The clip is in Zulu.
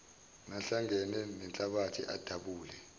nahlangene nenhlabathi adabule